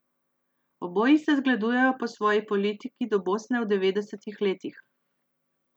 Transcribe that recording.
Oboji se zgledujejo po svoji politiki do Bosne v devetdesetih letih.